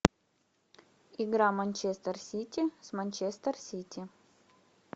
игра манчестер сити с манчестер сити